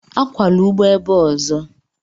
Akwala ugbo ebe a ozo!